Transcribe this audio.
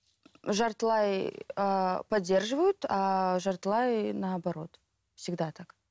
жартылай ыыы поддерживают ааа жартылай наоборот всегда так